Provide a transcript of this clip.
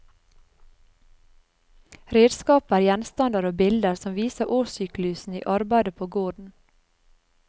Redskaper, gjenstander og bilder som viser årssyklusen i arbeidet på gården.